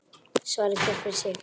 Svari hver fyrir sig.